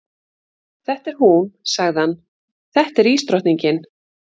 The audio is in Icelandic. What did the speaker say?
Þetta er hún, sagði hann, þetta er ísdrottningin.